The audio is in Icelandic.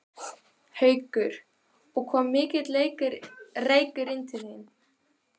Haukur: Og kom mikill reykur inn til þín?